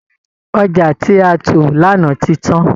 Ọjà tí a tò lánàá ti tán